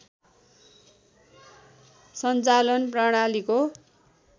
सञ्चालन प्रणालीको